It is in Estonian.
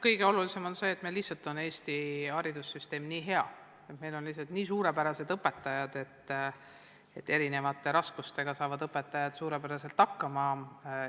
Kõige olulisem on see, et Eesti haridussüsteem on lihtsalt nii hea, et meil on lihtsalt nii suurepärased õpetajad, et nad saavad erinevate raskuste korral hakkama.